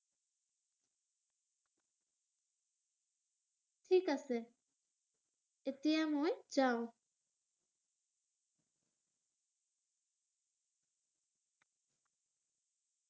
ঠিক আছে। এতিয়া মই যাওঁ।